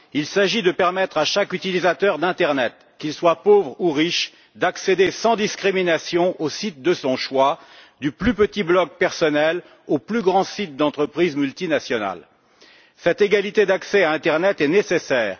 Il s'agit de permettre à chaque utilisateur d'internet, qu'il soit pauvre ou riche, d'accéder sans discrimination au site de son choix, du plus petit blog personnel aux plus grands sites d'entreprises multinationales. Cette égalité d'accès à internet est nécessaire.